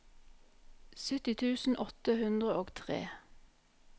sytti tusen åtte hundre og tre